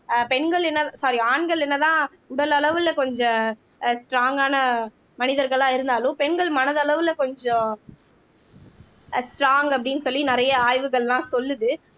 ஆஹ் பெண்கள் என்ன சாரி ஆண்கள் என்னதான் உடலளவில கொஞ்சம் அஹ் ஸ்ட்ராங்கான மனிதர்களா இருந்தாலும் பெண்கள் மனதளவுல கொஞ்சம் ஆஹ் ஸ்ட்ராங் அப்படின்னு சொல்லி நிறைய ஆய்வுகள்லாம் சொல்லுது